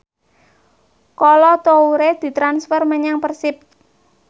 Kolo Toure ditransfer menyang Persib